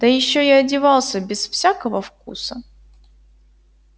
да ещё и одевался без всякого вкуса